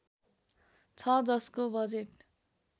छ जसको बजेट